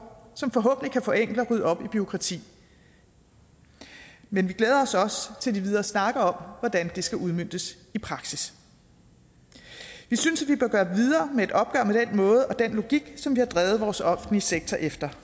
som forhåbentlig kan forenkle og rydde op i bureaukrati men vi glæder os også til de videre snakke om hvordan det skal udmøntes i praksis vi synes at måde og den logik som vi har drevet vores offentlige sektor efter